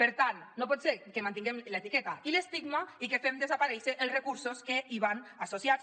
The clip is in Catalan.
per tant no pot ser que mantinguem l’etiqueta i l’estigma i que fem desaparèixer els recursos que hi van associats